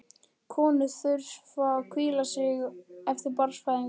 Konur þurfa að hvíla sig eftir barnsfæðingu.